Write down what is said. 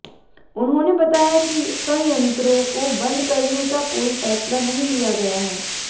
उन्होंने बताया कि संयंत्रों को बंद करने का कोई फैसला नहीं लिया गया है